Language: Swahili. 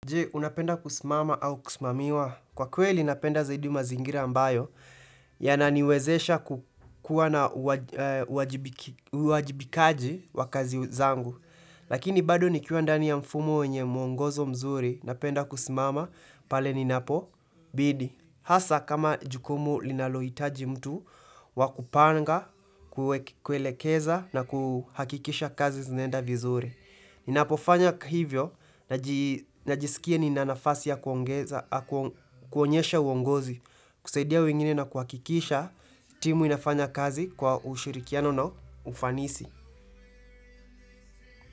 Je, unapenda kusimama au kusimamiwa. Kwa kweli napenda zaidi mazingira ambayo, yananiwezesha kukuwa na uwajibikaji wa kazi zangu. Lakini bado nikiwa ndani ya mfumo wenye mwongozo mzuri, napenda kusimama, pale ninapobidi. Hasa kama jukumu linalohitaji mtu, wa kupanga, kuelekeza na kuhakikisha kazi zinaenda vizuri. Ninapofanya hivyo, najisikia nina nafasi ya kuonyesha uongozi, kusaidia wengine na kuhakikisha timu inafanya kazi kwa ushirikiano na ufanisi.